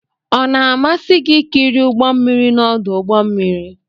Ọ na-amasị gị ikiri ụgbọ mmiri n'ọdụ ụgbọ mmiri?